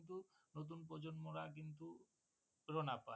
নতুন প্রজন্মরা কিন্তু রোনা পায়ে